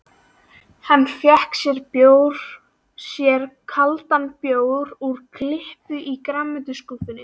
Hann fékk sér kaldan bjór úr kippu í grænmetisskúffunni.